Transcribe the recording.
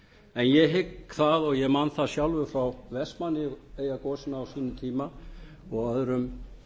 en ég hygg það og ég man það sjálfur frá vestmannaeyjagosinu á sínum tíma og öðrum